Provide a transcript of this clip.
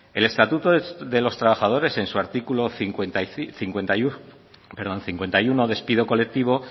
el estatuto de los trabajadores en su artículo cincuenta y uno despido colectivo